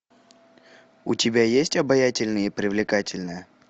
у тебя есть обаятельная и привлекательная